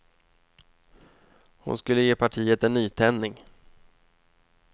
Hon skulle ge partiet en nytändning.